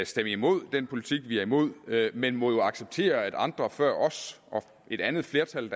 stemme imod den politik vi er imod men må jo acceptere at andre før os og et andet flertal